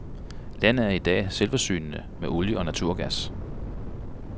Landet er i dag selvforsynende med olie og naturgas.